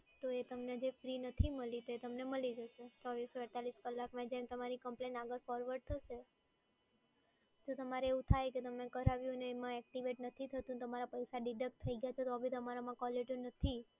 તો એ તમને જે ફ્રી નથી મળી, તે તમને મળી જશે ચોવીસથી અડતાલીસમાં, જેમ તમારી કમ્પ્લેન આગળ forward થશે. તો તમારે એવું થાય કે તમને કરાવી હોય ને એમાં એક્ટિવેટ નથી થતું તમારા પૈસા deduct થઈ ગયા તો બી તમારામાં કોલરટયુન નથી.